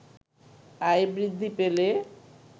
আয় বৃদ্ধি পেলে